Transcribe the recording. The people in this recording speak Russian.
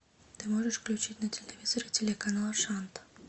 ты можешь включить на телевизоре телеканал шант